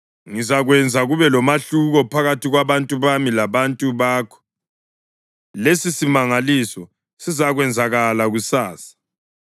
Ngizakwenza kube lomahluko phakathi kwabantu bami labantu bakho. Lesisimangaliso sizakwenzakala kusasa.’ ”